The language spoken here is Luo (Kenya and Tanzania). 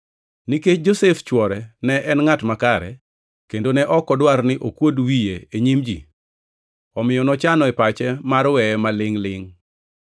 Nikech Josef chwore ne en ngʼat makare, kendo ne ok odwar ni okuod wiye e nyim ji, omiyo nochano e pache mar weye ma lingʼ-lingʼ.